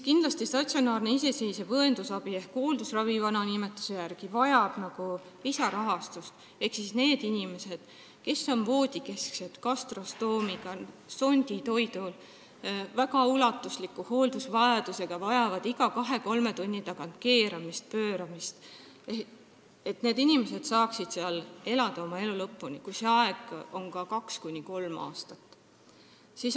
Kindlasti vajab statsionaarne iseseisev õendusabi ehk vana nimetuse järgi hooldusravi lisarahastust, et inimesed, kes on voodis, gastrostoomiga, sonditoidul, väga ulatusliku hooldusvajadusega ning vajavad iga kahe-kolme tunni tagant keeramist ja pööramist, saaksid seal asutuses elada oma elu lõpuni, kui see aeg on ka kaks-kolm aastat.